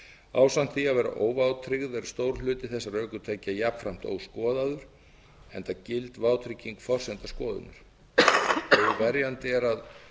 ásamt því að vera óvátryggð er stór hluti þeirra ökutækja jafnframt óskoðaður enda gild vátrygging forsenda skoðanir óverjandi er að